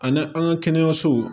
Ani an ka kɛnɛyasow